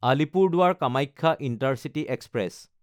Alipurduar Kamakhya intercity express